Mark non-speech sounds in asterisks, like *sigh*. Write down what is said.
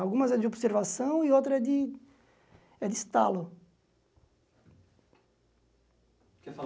Algumas é de observação e outras é de é de estalo. *unintelligible*